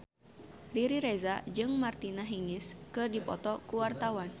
Riri Reza jeung Martina Hingis keur dipoto ku wartawan